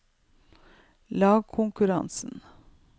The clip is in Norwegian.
lagkonkurransen